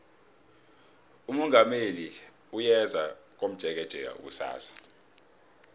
umongameli uyeza komjekejeke kusasa